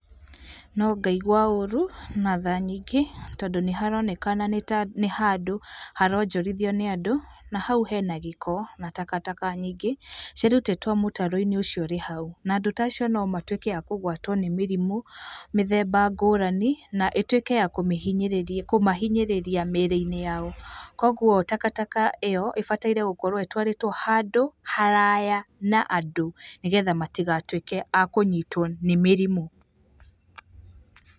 No ngaigua ũru na tha nyingĩ, tondũ nĩ haronekana nĩ ta, nĩ handũ haronjorithio nĩ andũ na haũ hena gĩko na takataka nyingĩ ciĩrutĩtwo mũtaro-inĩ ũcio ũrĩ hau, na andũ tacio no matuĩke a kũgwatwo nĩ mĩrimũ mĩthemba ngũrani na ĩtuĩke ya kũmĩhinyĩrĩria, kũmahinyĩrĩria mĩĩrĩ-inĩ yao. Koguo takataka ĩyo ĩbataire gũkorwo ĩtwarĩtwo handũ haraya na andũ nĩgetha matigatuĩke a kũnyitwo nĩ mĩrimũ.